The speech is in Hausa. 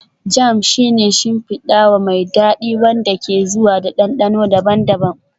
Jam shi ne shimfidawa mai dadi wanda ke zuwa da dandano daban-daban